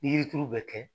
Ni yiri turu bɛ kɛ